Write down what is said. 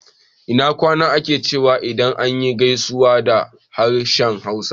Ina kwana ake cewa idan za ayi gaisuwa da harshen Hausa